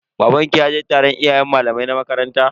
Babanki ya je taron iyayen da malamai na makaranta?